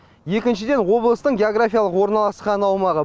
екіншіден облыстың географиялық орналасқан аумағы